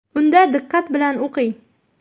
Unda diqqat bilan o‘qing.